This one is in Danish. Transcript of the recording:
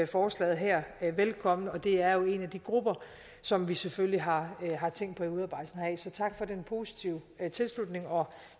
forslaget her velkommen og det er jo en af de grupper som vi selvfølgelig har tænkt på i udarbejdelsen af forslaget så tak for den positive tilslutning og